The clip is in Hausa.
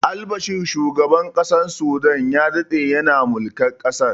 Albashir shugaban ƙasar sudan ya daɗe yana mulkar ƙasar